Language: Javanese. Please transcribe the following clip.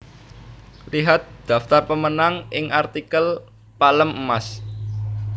Lihat daftar pemenang ing artikel Palem Emas